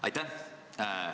Aitäh!